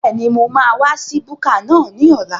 Bẹ́ẹ̀ni, mo máa wá sí búkà náà ní ọ̀la